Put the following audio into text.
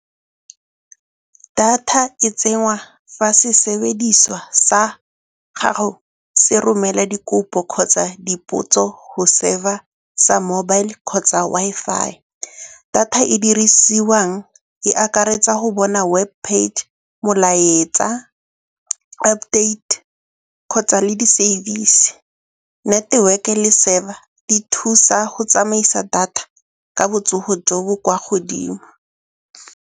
Data e tsenngwa fa sesebediswa sa gago se romela dikopo kgotsa dipotso go server-a sa mobile kgotsa Wi-Fi. Data e dirisiwang e akaretsa go bona web page, molaetsa, update kgotsa le di-service. Network-e le server di thusa go tsamaisa data ka botsogo jo bo kwa godimo.